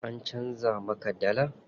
An canza muka dallar?